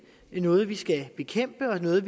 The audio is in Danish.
er noget vi skal bekæmpe og noget